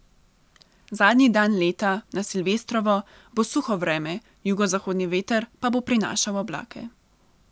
Zadnji dan leta, na silvestrovo, bo suho vreme, jugozahodni veter pa bo prinašal oblake.